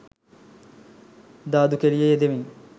දාදු කෙලියේ යෙදෙමින්